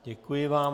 Děkuji vám.